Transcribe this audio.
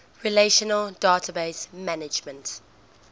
relational database management